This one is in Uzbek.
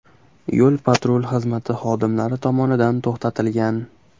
yo‘l-patrul xizmati xodimlari tomonidan to‘xtatilgan.